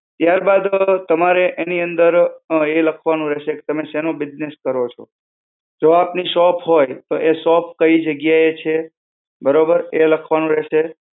ત્યારબાદ તમારે એની અંદર એ લખવાનું રહેશે કે તમે શાનો business કરો છો. જો આપની શોપ હોય, તો એ શોપ કઈ જગ્યાએ છે, બરોબર? એ લખવાનું રહેશે.